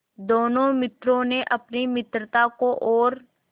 दोनों मित्रों ने अपनी मित्रता को और